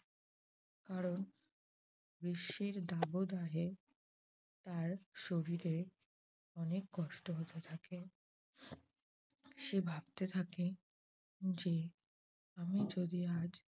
কারণ গ্রীষ্মের দাবদাহে তার শরীরে অনেক কষ্ট হতে থাকে। সে ভাবতে থাকে যে আমি যদি আর